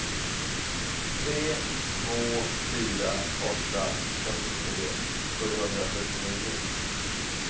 tre två fyra åtta fyrtiotre sjuhundrasjuttionio